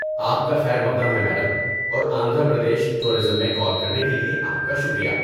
آپ کا خیرمقدم ہے میڈم اور آندھرا پردیش ٹورازم میں کال کرنے کے لیے آپ کا شکریہ۔